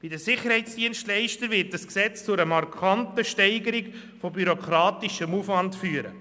Bei den Sicherheitsdienstleistern wird dieses Gesetz zu einer markanten Steigerung des bürokratischen Aufwands führen.